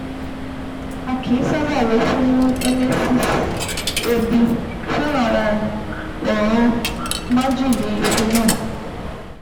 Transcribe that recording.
A kìí sábà lọ fún emesis èébì fún àwọn ọ̀ràn májèlé phenol